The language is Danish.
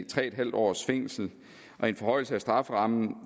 tre en halv års fængsel og en forhøjelse af strafferammen